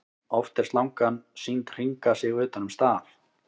Oft er slangan sýnd hringa sig utan um staf.